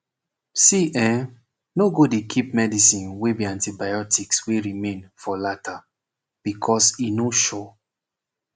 see eh no go dey keep medicine wey be antibiotics wey remain for lata becoz e no sure